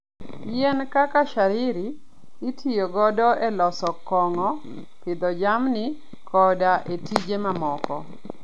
Yien kaka shayiri itiyogo e loso kong'o, pidho jamni, koda e tije mamoko.